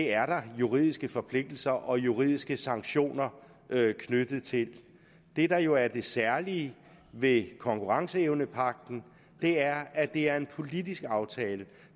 er der juridiske forpligtelser og juridiske sanktioner knyttet til det der jo er det særlige ved konkurrenceevnepagten er at det er en politisk aftale